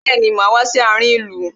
Bẹẹni, máa wá sí àárin ìlú.